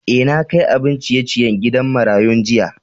Eh, na kai abin ciye-ciyen gidan marayun jiya.